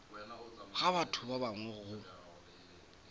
ga batho ba bangwe go